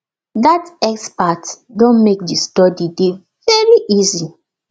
dat expert don make the study dey very easy